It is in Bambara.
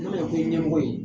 N'i y'a mɛn ko i ye ɲɛmɔgɔ ye